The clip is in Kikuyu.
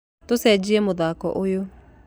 Tũcenjie mũthako ũyũ.